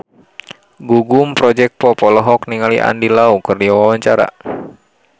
Gugum Project Pop olohok ningali Andy Lau keur diwawancara